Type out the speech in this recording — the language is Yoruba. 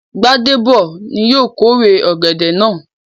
Gbádéb ni yóò kórè ọ̀gẹ̀dẹ̀ náà.